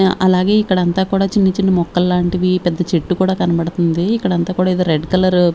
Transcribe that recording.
అలాగే ఇక్కడంతా కూడా చిన్న చిన్న మొక్కల్ లాంటివి పెద్ద చెట్టు కూడా కనబడుతుంది ఇక్కడంతా కూడా ఏదో రెడ్ కలర్ --